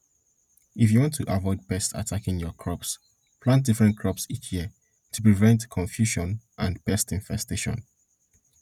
if you want to avoid pests attacking your crops plant different crops each year to prevent confusion and pest infestation